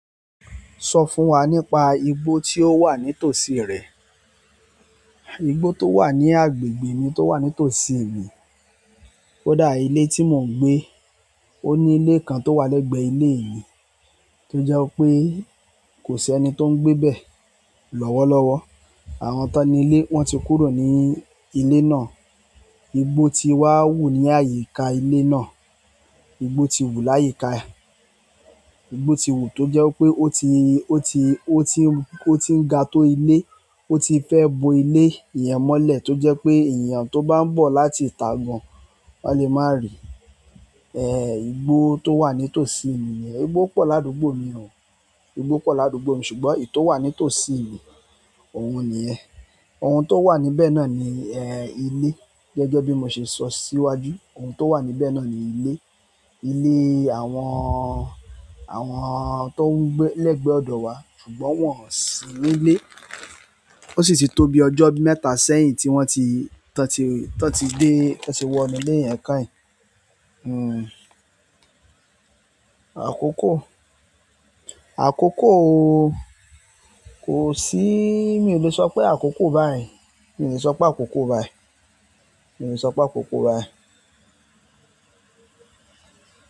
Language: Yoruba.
Sọ fún wa nípa igbó tí ó wà ní tòsí rẹ̀. Igbó tó wà ní agbègbè mi tó wà ní tòsí mi, kó dà ilé tí mò ń gbé. Ó ní ilé kan tó wà lẹ́gbẹ̀ẹ́ ilé mi tó jẹ́ pé kò sí ẹni tó ń gbé bẹ́ẹ̀ lọ́wọ́lọ́wọ́. Àwọn tán ni ilé wọ́n ti kúrò ní ilé náà. Igbó ti wá wù ní àyíká ilé náà. Igbo ti wu layika igbó ti wù tó jẹ́ pé ó ti, ó ti, ó ti ń, ó ti ń ga tó ilé. Ó ti fẹ́ bo ilé iyen mọ́lẹ̀ tó jẹ́ pé èèyàn tó bá ń bọ̀ láti ìtà gan, wọn lè má rí i. Igbó tó wà ní tòsí mi nìyẹn. Igbó pọ̀ ládùúgbò mi o. Igbó pọ̀ ládùúgbò mi ṣùgbọ́n èyí tó wà ní tòsí mi, òun nìyẹn. Ohun tó wà níbẹ̀ náà ni, ilé. Gẹ́gẹ́ bí mo ṣe sọ síwájú, ohun tó wà níbẹ̀ náà ni ilé. Ilé àwọn, àwọn tó ń gbé lẹ́gbẹ̀ẹ́ ọ̀dọ̀ wa ṣùgbọ́n wọ́n ò sí nílé. Ó sì ti tó bi ọjọ́ mẹ́ta sẹ́yìn tí wọ́n ti, tí wọ́n ti dé, tí wọ́n ti wọ inú ilé yẹn káì. Àkókò? Àkókò o. Kò síí, mi ò le sọ pé àkókò báyìí. Mi ò lè sọ pé àkókò báyìí. Mi o le so pe akoko báyìí.